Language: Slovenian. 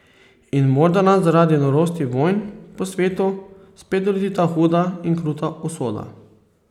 In morda nas zaradi norosti vojn po svetu spet doleti ta huda in kruta usoda.